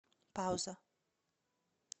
пауза